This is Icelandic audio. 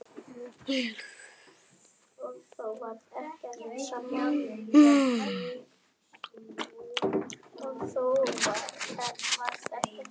Munu fáir eftir leika.